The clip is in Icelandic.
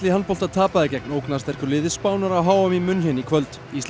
handbolta tapaði gegn liði Spánar á h m í München í kvöld island